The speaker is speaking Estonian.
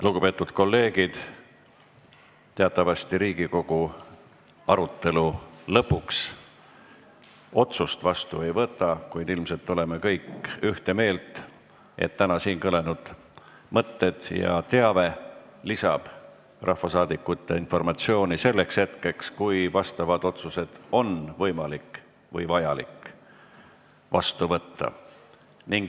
Lugupeetud kolleegid, teatavasti Riigikogu arutelu lõpus otsust vastu ei võta, kuid ilmselt oleme kõik ühte meelt, et täna siin kõlanud mõtted ja teave lisavad rahvasaadikute informatsiooni selleks hetkeks, kui vastavaid otsuseid on võimalik või vajalik vastu võtta.